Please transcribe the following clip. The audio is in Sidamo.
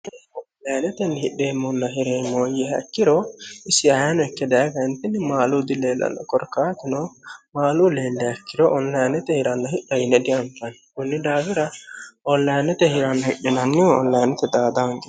onlayanetenni hidheemmonna hireemooyye hakkiro isi ayano ikke dayigayintinni maalu dileelanno korkaatino maaluu leelle hekkiro onlayannete hiranna hidha yine dianfanni kunni daagira ollayannete hiranna hidhinannihu ollayinnete xaadange